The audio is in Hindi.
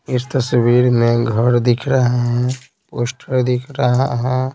इस तस्वीर में घर दिख रहा है पोस्टर दिख रहा है।